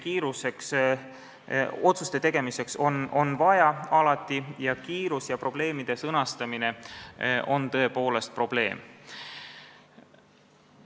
Nii et aega otsuste tegemiseks on alati vaja, kiirus ja probleemide sõnastamine on tõepoolest probleem.